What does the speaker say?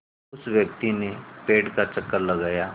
उस व्यक्ति ने पेड़ का चक्कर लगाया